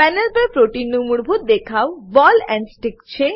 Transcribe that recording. panel પર protein નું મૂળભૂત દેખવ બૉલ એન્ડ સ્ટિક